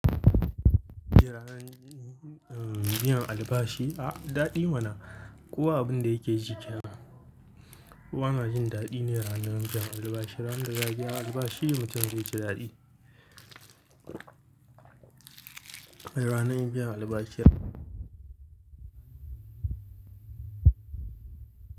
Ranar biyan albashi, a daɗi mana. Kowa abin da yake jikenan. Kowa yana jin daɗi ne ranar biyan albashi. Ranar da za'a biya albashi mutum zai ji daɗi. Wai ranar biyan albashi yau.